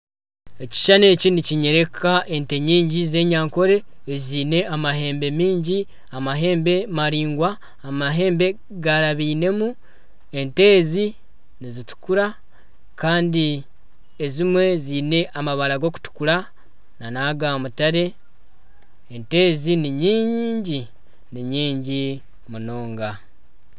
Ekishushani ekyi nikinyereka ente nyingi z'enyankole ezine amahembe mingi, amahembe maringwa, amahembe garabiinemu. Ente ezi nizituukura Kandi ezimwe ziine amabara ga kutukura nagamutare. Ente ezi Ni nyiingi, Ni nyiingi munonga.